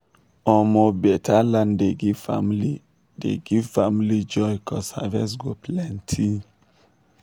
omo beta land dey give family dey give family joy cuz harvest go plenty.